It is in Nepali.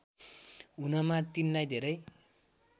हुनमा तिनलाई धेरै